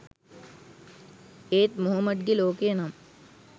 ඒත් මොහොමඩ්ගේ ලෝකය නම්